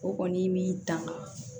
O kɔni min tan